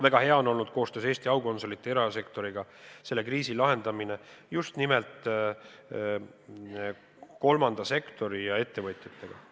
Väga hea on olnud koostöös Eesti aukonsulite ja erasektoriga selle kriisi lahendamine just nimelt kolmanda sektori ja ettevõtjatega.